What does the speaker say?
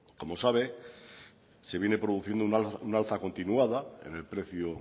como sabe se viene produciendo un alza continuada en el precio